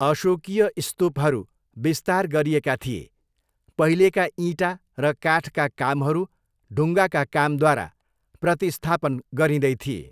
अशोकीय स्तूपहरू विस्तार गरिएका थिए, पहिलेका इँटा र काठका कामहरू ढुङ्गाका कामद्वारा प्रतिस्थापन गरिँदै थिए।